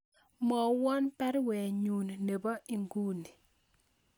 Mwowon baruenyun nebo inguni